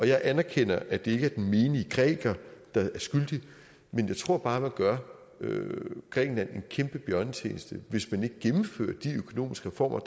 jeg anerkender at det ikke er den menige græker der er skyldig men jeg tror bare man gør grækenland en kæmpe bjørnetjeneste hvis man ikke gennemfører de økonomiske reformer